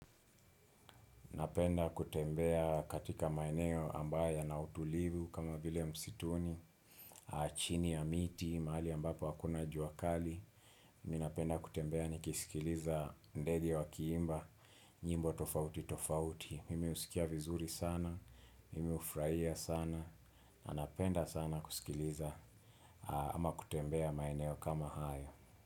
Napenda kutembea katika maeneo ambaye yana utulivu kama vile msituni, chini ya miti, mahali ambapo hakuna jua kali. Ninapenda kutembea nikisikiliza ndege wakiimba, nyimbo tofauti tofauti. Mimi husikia vizuri sana, mimi hufraia sana, napenda sana kusikiliza ama kutembea maeneo kama haya.